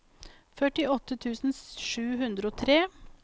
førtiåtte tusen sju hundre og tre